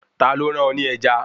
Ta ló rán ọ ní ẹja